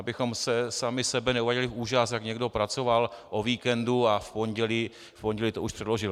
Abychom sami sebe neuváděli v úžas, jak někdo pracoval o víkendu a v pondělí to už předložil.